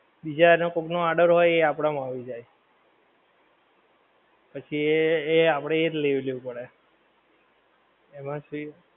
બીજા કોક નો order હોય એ આપડા માં આવી જાય. પછી એ એ આપડે એ જ લઈ લેવું પડે. એમાંથી